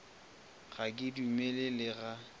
ga ke dumele le ga